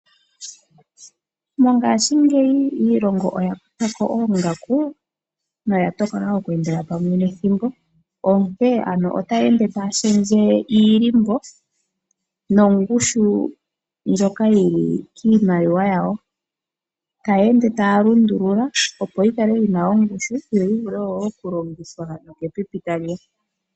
Mongaashingeyi iilongo oya kutha ko oongaku noya tokola okweendela pamwe nethimbo, onkee ano otaya ende taya shendje iilimbo nongushu ndjoka yi li kiimaliwa yawo taya ende taya lundulula opo yi kale yi na ongushu yo yi vule okulongithwa nokepipi tali ya.